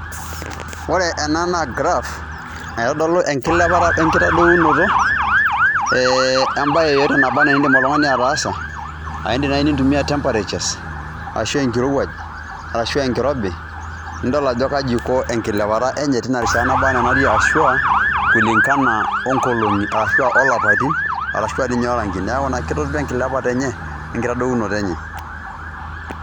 Ore ena naa graph naitodolu enkilepata we nkitadounoto embae yeyote nabaa nee enindim oltung'ani ataasa. A indim nai nintumia temperatures ashu enkirowuaj, arashu enkirobi nidol ajo kaji iko enkilepata enye tina rishata naba naa natii ashu a kulingana o nkolong'i ashu a lapaitin arashu a ninye orangi, neeku naa kitadolu enkilepata enye we nkitadounoto enye.